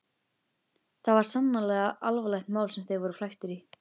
Það var sannarlega alvarlegt mál sem þeir voru flæktir í.